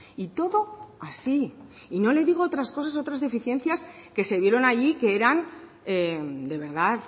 y todo así y no le digo otras cosas otras deficiencias que se vieron allí que eran de verdad